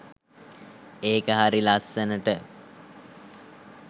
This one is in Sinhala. ඒක හරි ලස්සනට